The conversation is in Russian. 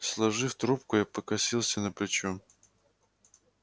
сложив трубку я покосился на плечо